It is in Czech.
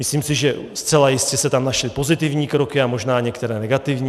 Myslím si, že zcela jistě se tam našly pozitivní kroky a možná některé negativní.